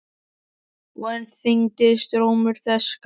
Og enn þyngdist rómur þess gamla.